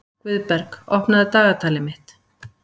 Guðberg, opnaðu dagatalið mitt.